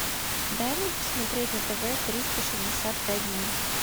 дай мне посмотреть на тв триста шестьдесят пять дней